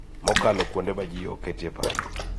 Mokalo kuonde ma ji ok oketie e paro